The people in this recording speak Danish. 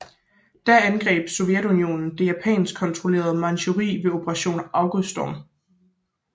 Da angreb Sovjetunionen det japansk kontrollerede Manchuriet ved Operation Auguststorm